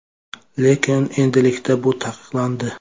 Lekin endilikda bu taqiqlandi.